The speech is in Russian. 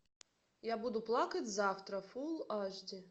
я буду плакать завтра фул аш ди